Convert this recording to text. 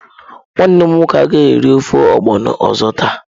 Nwannem nwoke agaghi eri ofe ogbono ozo taa.